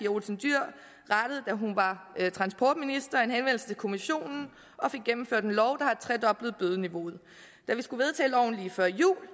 olsen dyhr rettede da hun var transportminister en henvendelse til kommissionen og fik gennemført en lov der tredoblede bødeniveauet da vi skulle vedtage loven lige før jul